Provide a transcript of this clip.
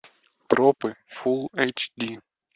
тропы фулл эйч ди